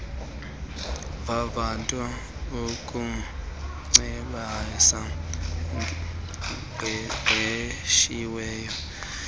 vavanto kumcebisi oqeqeshiweyo